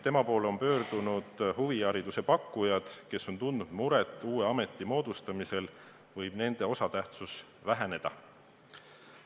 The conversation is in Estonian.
Tema poole on pöördunud huvihariduse pakkujad, kes on mures, et uue ameti moodustamisel võib nende osatähtsus väheneda.